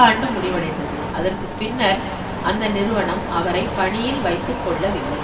ஆண்டு முடிவடைந்தது அதற்கு பின்னர் அந்த நிறுவனம் அவரை பணியில் வைத்துக்கொள்ளவில்லை